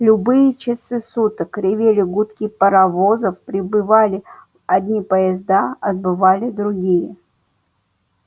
в любые часы суток ревели гудки паровозов прибывали одни поезда отбывали другие